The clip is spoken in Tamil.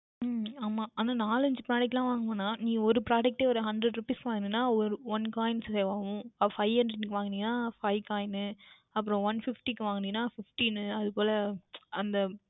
உம் ஆமாம் ஆனால் நான்கு ஐந்து Product எல்லாம் வாங்க வேண்டாம் நீ ஓர் Product யே ஓர் Hundred Rupees வாங்கினாய் என்றால் One Coins தருவார்கள் Five Hundred Rupees க்கு வாங்கினாய் என்றால் Five Coins தருவார்கள் One Fifty க்கு வாங்கினாய் என்றால் Fifteen என்று அதற்கு பதில் அந்த